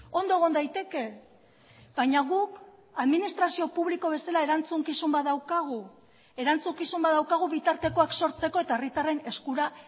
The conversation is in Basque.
ondo egon daiteke baina guk administrazio publiko bezala erantzukizun bat daukagu erantzukizun bat daukagu bitartekoak sortzeko eta herritarren eskura